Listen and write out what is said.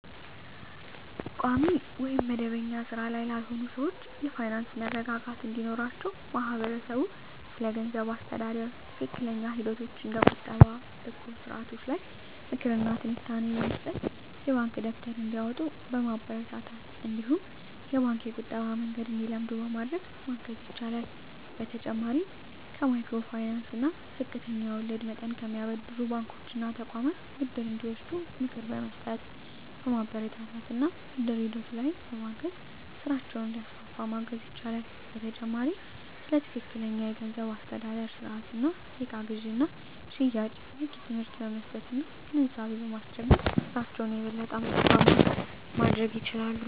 ቋሚ ወይም መደበኛ ሥራ ላይ ላልሆኑ ሰዎች የፋይናንስ መረጋጋት እንዲኖራቸው ማህበረሰቡ ስለገንዘብ አስተዳደር ትክክለኛ ሂደቶች እንደ ቁጠባ እና እቁብ ስርዓቶች ላይ ምክር እና ትንታኔ በመስጠት፣ የባንክ ደብተር እንዲያወጡ በማበረታታት እነዲሁም የባንክ የቁጠባ መንገድን እንዲለምዱ በማድረግ ማገዝ ይችላል። በተጨማሪም ከማይክሮ ፋይናንስ እና ዝቅተኛ ወለድ መጠን ከሚያበድሩ ባንኮች እና ተቋማት ብድር እንዲወስዱ ምክር በመስጠት፣ በማበረታታት እና ብድር ሂደቱ ላይም በማገዝ ስራቸውን እንዲያስፋፉ ማገዝ ይቻላል። በተጨማሪም ስለ ትክክለኛ የገንዘብ አስተዳደር ስርአት እና የእቃ ግዥና ሽያጭ በቂ ትምህርት በመስጠት እና ግንዛቤ በማስጨበጥ በስራቸው የበለጠ ትርፋማ እንዲሆኑ ማድረግ ይቻላል።